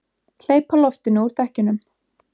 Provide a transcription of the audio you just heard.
Hleypa loftinu úr dekkjunum!